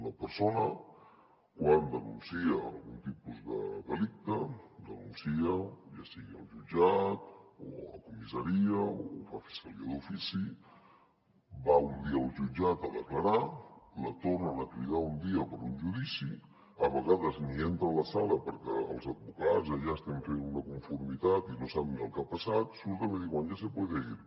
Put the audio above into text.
una persona quan denuncia algun tipus de delicte denuncia ja sigui al jutjat o a comissaria o ho fa a la fiscalia d’ofici va un dia al jutjat a declarar la tornen a cridar un dia per a un judici a vegades ni entra a la sala perquè els advocats allà estem fent una conformitat i no sap ni el que ha passat surten i diuen ya se puede ir